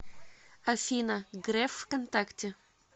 афина греф в контакте